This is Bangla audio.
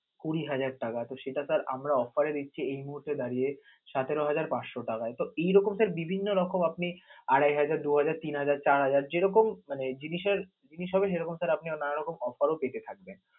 কুড়ি হাজার টাকা, তো সেটা তার আমরা offer এ দিচ্ছি, এই মুহূর্তে দাঁড়িয়ে সতেরো হাজার পাচশ টাকা এ তো বিভিন্ন রকম আপনি আড়াই হাজার, দুই হাজার, তিন হাজার, চার হাজার যে রকম মানে জিনিসের জিনিস হবে সে রকম আপনে নোনা রকম offer ও থাকবেন.